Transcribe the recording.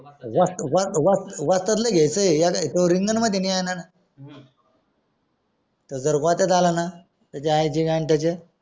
वस वस्ताद ला घेयचा येड्यतो रिंगण मध्ये नाय येईना तो जर गोत्यात आला ना त्याच्या आई ची गांड त्याचा